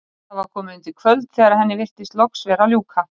Það var komið undir kvöld þegar henni virtist loks vera að ljúka.